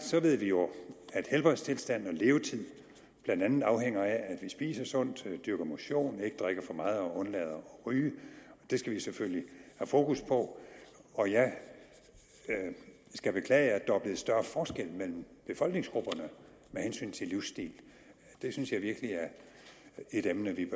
ved vi jo at helbredstilstand og levetid blandt andet afhænger af at vi spiser sundt dyrker motion ikke drikker for meget og undlader at ryge og det skal vi selvfølgelig have fokus på og jeg skal beklage at der er blevet større forskel mellem befolkningsgrupperne med hensyn til livsstil det synes jeg virkelig er et emne vi